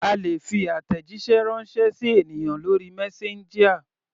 A lè fi àtẹ̀jíṣẹ́ ránṣẹ́ sí ènìyàn lórí messenger.